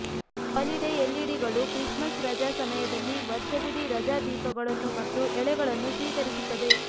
holiday ಎಲ್ಇಡಿಗಳು Christmas ರಜಾ ಸಮಯದಲ್ಲಿ ವರ್ಷವಿಡೀ ರಜಾ ದೀಪಗಳನ್ನು ಮತ್ತು ಎಳೆಗಳನ್ನು ಸ್ವೀಕರಿಸುತ್ತದೆ